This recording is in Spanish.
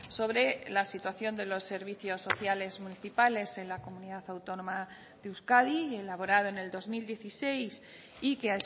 sobre la situación de los servicios sociales municipales en la comunidad autónoma de euskadi y elaborado en el dos mil dieciséis y que